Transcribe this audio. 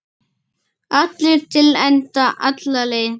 Allt til enda, alla leið.